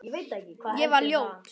Ég var ljót.